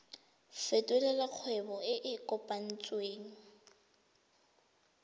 fetolela kgwebo e e kopetswengcc